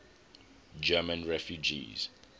german refugees